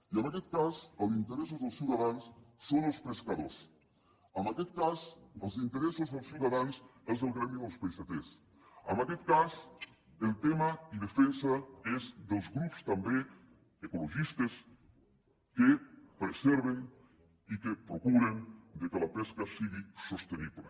i en aquest cas els interessos dels ciutadans són els pescadors en aquest cas els interessos dels ciutadans és el gremi dels peixaters en aquest cas el tema i defensa és dels grups també ecologistes que preserven i que procuren que la pesca sigui sostenible